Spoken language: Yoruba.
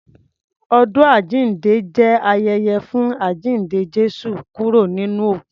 Ọdún àjínde jẹ́ ayẹyẹ fún àjínde Jésù kúrò nínú òkú.